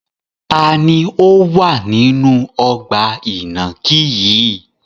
Taàní ó wà nínú ọgbà ìnàkí yìí?